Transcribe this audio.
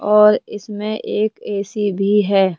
और इसमें एक ऐ_सी भी है।